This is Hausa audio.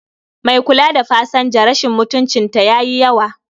Mai kula da pasanja rashin mutuncin ta yayi yawa